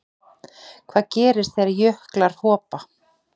Hvað gerist þegar jöklar hopa?